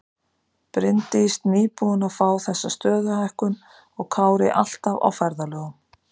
Bryndís nýbúin að fá þessa stöðuhækkun og Kári alltaf á ferðalögum.